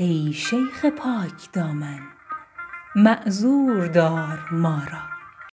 ای شیخ پاک دامن معذور دار ما را